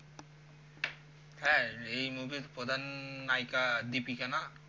হ্যাঁ এই movie এর প্রধান নায়িকা deepika না